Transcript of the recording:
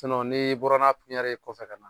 N'i bɔra n'a ye kɔfɛ ka na